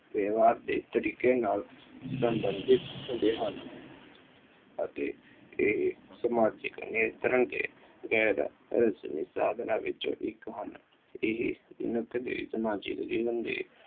ਵਿਵਹਾਰ ਦੇ ਤਰੀਕੇ ਨਾਲ ਸਮਰਪਿਤ ਹੁੰਦੇ ਹਨ ਅਤੇ ਇਹ ਸਮਾਜਿਕ ਨਿਯੰਤਰਣ ਦੇ ਗੈਰ ਰਸਮੀ ਸਾਧਨਾਂ ਵਿੱਚ ਇੱਕ ਹੱਲ ਇਹ ਮਨੁੱਖ ਦੇ ਸਮਾਜਿਕ ਜੀਵਨ ਦੇ